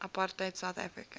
apartheid south africa